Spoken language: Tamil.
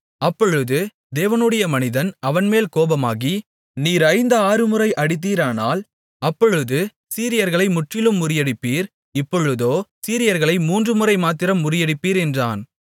அப்பொழுது தேவனுடைய மனிதன் அவன்மேல் கோபமாகி நீர் ஐந்து ஆறுமுறை அடித்தீரானால் அப்பொழுது சீரியர்களை முற்றிலும் முறியடிப்பீர் இப்பொழுதோ சீரியர்களை மூன்றுமுறை மாத்திரம் முறியடிப்பீர் என்றான்